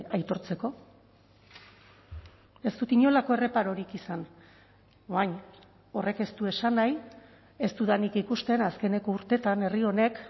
aitortzeko ez dut inolako erreparorik izan orain horrek ez du esan nahi ez dudanik ikusten azkeneko urteetan herri honek